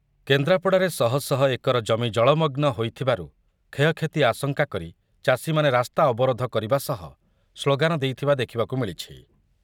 କେନ୍ଦ୍ରାପଡ଼ାରେ ଶହଶହ ଏକର ଜମି ଜଳମଗ୍ନ ହୋଇଥିବାରୁ କ୍ଷୟକ୍ଷତି ଆଶଙ୍କା କରି ଚାଷୀମାନେ ରାସ୍ତା ଅବରୋଧ କରିବା ସହ ସ୍ଳୋଗାନ ଦେଇଥିବା ଦେଖିବାକୁ ମିଳିଛି ।